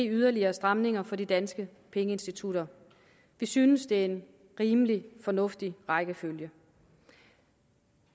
yderligere stramninger for de danske pengeinstitutter vi synes det er en rimelig fornuftig rækkefølge